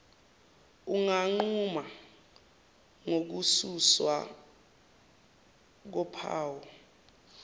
unganquma ngokususwa kophawu